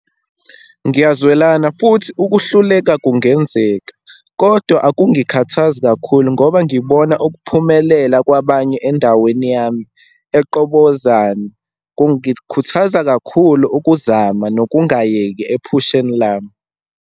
Ngiyazwelana, futhi ukuhluleka kungenzeka, kodwa akungikhathazi kakhulu ngoba ngibona ukuphumelela kwabanye endaweni yami eQobozane. Kungikhuthaza kakhulu ukuzama nokungayeki ephusheni lami.